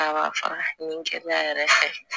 A b'a fara nin kɛnɛya yɛrɛ fɛ